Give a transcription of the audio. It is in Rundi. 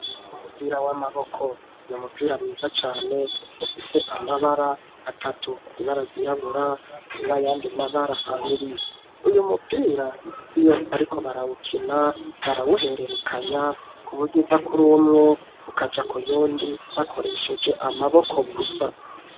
Umupira w'amaboko n'umupira mwiza cane ufise amabara atatu ibaragirabura n'ayandi mabara abiri uyu mupira iyo ariko barabukina barawuhererekanya ku buryo uva kuri umwe ukaja k'uyundi bakoresheje amaboko gusa.